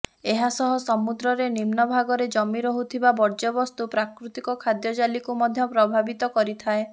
ଏହା ସହ ସମୁଦ୍ରରେ ନିମ୍ନ ଭାଗରେ ଜମି ରହୁଥିବା ବର୍ଯ୍ୟବସ୍ତୁ ପ୍ରାକୃତିକ ଖାଦ୍ୟ ଜାଲିକୁ ମଧ୍ୟ ପ୍ରଭାବିତ କରିଥାଏ